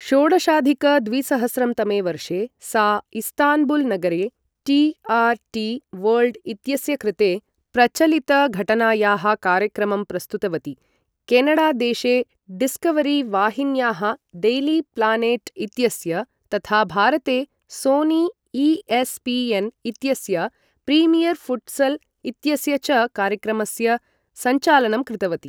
षोडशाधिक द्विसहस्रं तमे वर्षे सा इस्तान्बुल् नगरे टी.आर्.टी.वर्ल्ड् इत्यस्य कृते प्रचलितघटनायाः कार्यक्रमं प्रस्तुतवती, केनाडादेशे डिस्कवरी वाहिन्याः डैली प्लानेट् इत्यस्य, तथा भारते सोनी ई.एस्.पी.एन्. इत्यस्य प्रीमियर् फुट्सल् इत्यस्य च कार्यक्रमस्य सञ्चालनं कृतवती।